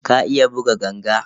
Ka iya buga ganga?